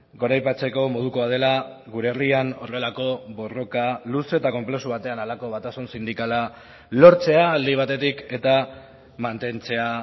goraipatzeko modukoa dela gure herrian horrelako borroka luze eta konplexu batean halako batasun sindikala lortzea alde batetik eta mantentzea